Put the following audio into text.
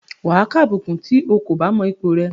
Wà á kàbùkùn tí o kò bá mọ ipò rẹ.